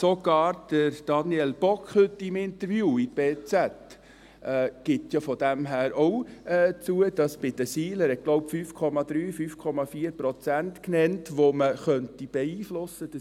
Insofern gibt ja sogar auch Daniel Bock im Interview in der heutigen «Berner Zeitung (BZ)» zu, dass man die SIL – er hat, glaube ich, 5,3 Prozent, 5,4 Prozent genannt – beeinflussen könnte.